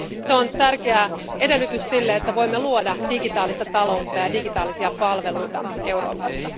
Se on tärkeä edellytys sille, että voimme luoda digitaalista taloutta ja digitaalisia palveluja Euroopassa.